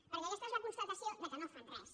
perquè aquesta és la constatació que no fan res